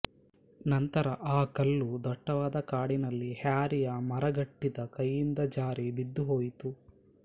ನಂತರ ಆ ಕಲ್ಲು ದಟ್ಟವಾದ ಕಾಡಿನಲ್ಲಿ ಹ್ಯಾರಿಯ ಮರಗಟ್ಟಿದ ಕೈಯಿಂದ ಜಾರಿ ಬಿದ್ದುಹೊಯಿತು